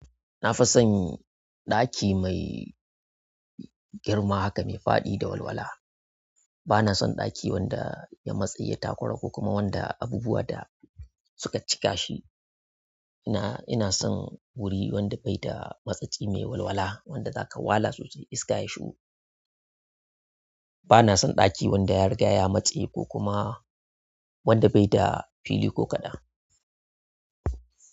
Na fi son ɗaki mai girma haka, mai faɗi da walwala. Bana son ɗaki wanda ya matse ya takura ko kuma wanda abubuwa da suka cika shi. Ina, ina son wuri wanda bai da matsatsi mai walwala, wanda zaka wala sosai iska ya shugo. Bana son ɗaki wanda ya rigaya matse ko kuma wanda bai da fili ko kaɗan.